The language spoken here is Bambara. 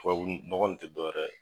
Tubabunɔgɔ in tɛ dɔwɛrɛ ye.